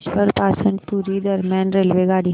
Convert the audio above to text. भुवनेश्वर पासून पुरी दरम्यान रेल्वेगाडी